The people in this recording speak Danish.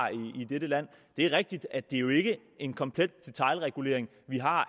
i dette land det er rigtigt at det jo ikke er en komplet detailregulering vi har